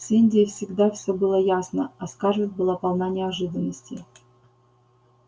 с индией всегда всё было ясно а скарлетт была полна неожиданностей